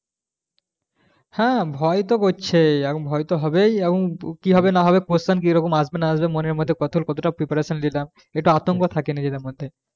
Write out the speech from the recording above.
হ্যাঁ ভয় তো করছেই এখন ভয়ে তো হবেই এবং কি হবে না হবে question কিরকম আসবে না আসবে মনের মধ্যে কতটা preparation লিলাম একটু আতঙ্ক থাকে নিজেদের মধ্যে